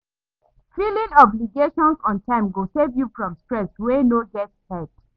Filing obligations on time go save yu from stress wey no get head